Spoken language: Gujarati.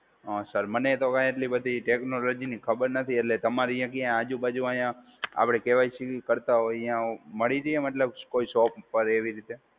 હા સર, મને તો કંઈ એટલી બધી ટેકનોલોજી ની ખબર નથી. એટલે તમારી ત્યાં આજુબાજુ અહીંયા આપડે કે વાય સી કરતા હોય ત્યાં મળી રહીએ મતલબ કોઈ શોપ ઉપર એવી રીતે.